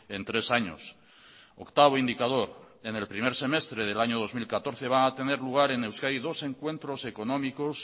en tres años octavo indicador en el primer semestre del año dos mil catorce van a tener lugar en euskadi dos encuentros económicos